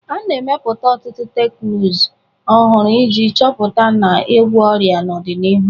A na-emepụta ọtụtụ teknụzụ ọhụrụ iji chọpụta na ịgwọ ọrịa n'ọdịnihu.